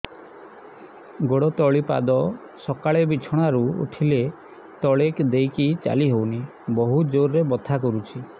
ଗୋଡ ତଳି ପାଦ ସକାଳେ ବିଛଣା ରୁ ଉଠିଲେ ତଳେ ଦେଇକି ଚାଲିହଉନି ବହୁତ ଜୋର ରେ ବଥା କରୁଛି